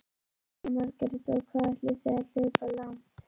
Jóhanna Margrét: Og hvað ætlið þið að hlaupa langt?